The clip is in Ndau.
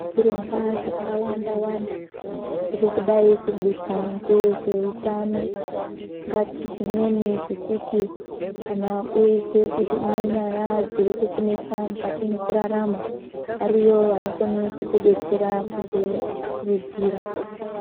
Zvirongwa zvakawanda wanda zviri kudai kuburwa ngevezveutano, ungati zvimweni zvekuti kana uizwe kuti une nyaya dziri kukunesa mwukati mwekurarama, ariyo anokone kukudetsera kuku kurudzira.